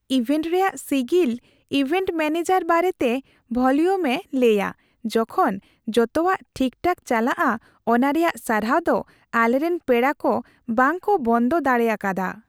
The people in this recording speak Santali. ᱤᱵᱷᱮᱱᱴ ᱨᱮᱭᱟᱜ ᱥᱤᱜᱤᱞ ᱤᱵᱷᱮᱱᱴ ᱢᱮᱹᱱᱮᱡᱟᱨ ᱵᱟᱨᱮᱛᱮ ᱵᱷᱚᱞᱤᱭᱩᱢ ᱮ ᱞᱟᱹᱭᱟ ᱡᱚᱠᱷᱚᱱ ᱡᱚᱛᱚᱣᱟᱜ ᱴᱷᱤᱠᱴᱷᱟᱠ ᱪᱟᱞᱟᱜᱼᱟ ᱚᱱᱟ ᱨᱮᱭᱟᱜ ᱥᱟᱨᱦᱟᱣ ᱫᱚ ᱟᱞᱮᱨᱮᱱ ᱯᱮᱲᱟ ᱠᱚ ᱵᱟᱝᱠᱚ ᱵᱚᱱᱫᱚ ᱫᱟᱲᱮ ᱟᱠᱟᱫᱟ ᱾